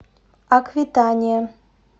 аквитания